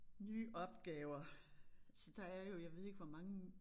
Nye opgaver så der er jo jeg ved ikke hvor mange